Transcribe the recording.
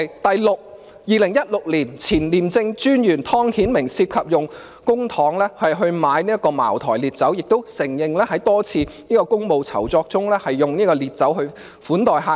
第六個例子，前廉政專員湯顯明涉嫌用公帑購買茅台烈酒，亦承認在多次公務酬酢中用烈酒款待客人。